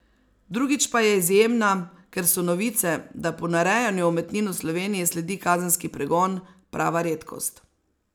Drugič pa je izjemna, ker so novice, da ponarejanju umetnin v Sloveniji sledi kazenski pregon, prava redkost.